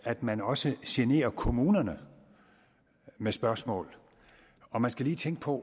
at man også generer kommunerne med spørgsmål man skal lige tænke på